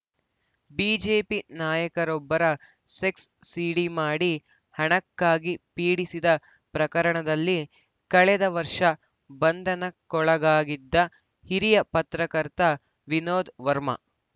BJP ನಾಯಕರೊಬ್ಬರ sex CD ಮಾಡಿ ಹಣಕ್ಕಾಗಿ ಪೀಡಿಸಿದ ಪ್ರಕರಣದಲ್ಲಿ ಕಳೆದ ವರ್ಷ ಬಂಧನಕ್ಕೊಳಗಾಗಿದ್ದ ಹಿರಿಯ ಪತ್ರಕರ್ತ ವಿನೋದ್‌ ವರ್ಮಾ